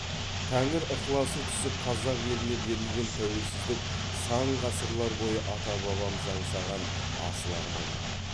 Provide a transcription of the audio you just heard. тәңір ықыласы түсіп қазақ еліне берілген тәуелсіздік сан ғасырлар бойы ата бабамыз аңсаған асыл арман еді